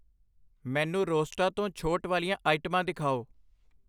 ਮੈਨੂੰ ਰੋਸਟਾ ਤੋਂ ਛੋਟ ਵਾਲੀਆਂ ਆਈਟਮਾਂ ਦਿਖਾਓ